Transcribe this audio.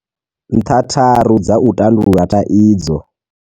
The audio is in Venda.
Nṱha tharu dza u tandulula thaidzo.